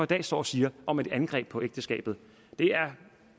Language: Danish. dag står og siger om at et angreb på ægteskabet er